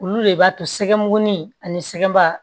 Olu de b'a to sɛgɛnin ani sɛgɛnba